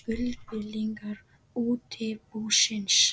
skuldbindingar útibúsins.